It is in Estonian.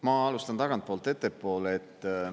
Ma alustan tagantpoolt ettepoole.